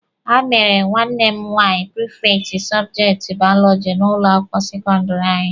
Ha mere nwanne m nwaanyị prifekti sọbjekti baọlọjị n'ụlọ akwụkwọ sekọndịrị anyị.